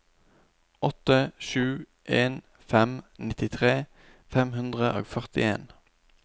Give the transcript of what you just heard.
åtte sju en fem nittitre fem hundre og førtien